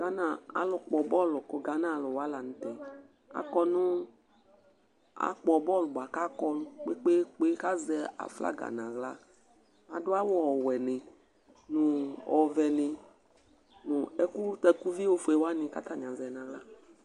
Gbana alu kpɔ bɔlu ku ghana aluni la n'tɛ, akɔ nu, akpɔ bɔlu bua k'akɔ kpekpékpe, k'azɛ aflaga n'aɣla, adu awù ɔwɛ ni, nu ɔvɛ ni, nu ɛku takuvi ofue wa ni k'atani azɛ n'aɣla